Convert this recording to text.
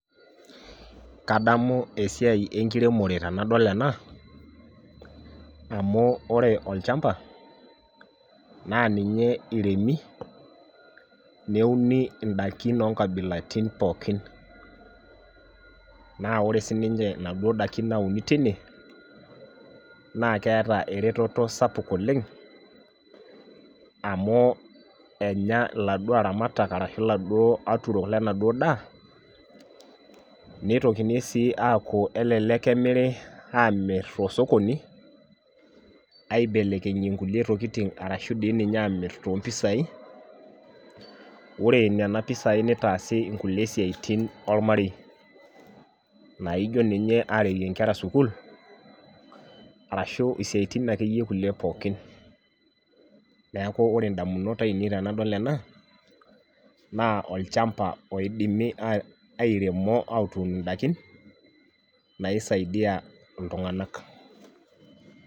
Kadamu esiai enkiremore tenadol ena, amu ore olchampa naa ninye iremi neuni idaikin oo nkabilaritin pookin, naa ore sii ninche inaduoo daikin nauni tine naa keeta eretoto sapuk oleng', amu, enya iladuo aramatak ashu iladuo aturok lenaduo daa, nitokini sii aaku elelek emiri, aamirr tosokoni aibelekenyie nkulie tokitin arashu dii ninye aamirr too mpisai, ore nena pisai nitaasi kulie siatin olmarei, naijo ninye areyie nkera sukuul, arashu siatin akeyie kulie pookin. Neeku ore ndamunot ainei tenadol ena naa olchampa oidimi airemisho atuun indaikin naisaidia iltung'anak.